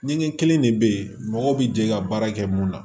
Ɲɛgɛn kelen de bɛ ye mɔgɔ bi jɛ ka baara kɛ mun na